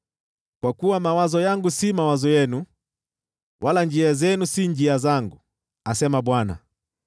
“Kwa kuwa mawazo yangu si mawazo yenu, wala njia zenu si njia zangu,” asema Bwana .